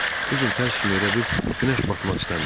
Bu gün tərs kimi elə bil günəş batmaq istəmirdi.